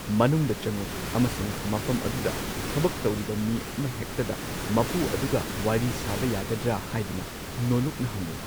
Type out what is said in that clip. ꯃꯅꯨꯡꯗ ꯆꯪꯎ ꯑꯃꯁꯨꯡ ꯃꯐꯝ ꯑꯗꯨꯗ ꯊꯕꯛ ꯇꯧꯔꯤꯕ ꯃꯤ ꯑꯃꯍꯦꯛꯇꯗ ꯃꯄꯨ ꯑꯗꯨꯒ ꯋꯥꯔꯤ ꯁꯥꯕ ꯌꯥꯒꯗ꯭ꯔ ꯍꯥꯢꯗꯨꯅ ꯅꯣꯜꯂꯨꯛꯅ ꯍꯪꯎ꯫